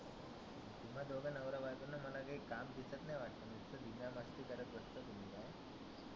तुम्हा दोघा नवरा बायकोना तुम्हाला काही काम दिसत नाही वाटतं. नुस्त धिंगा मस्ती करत बसता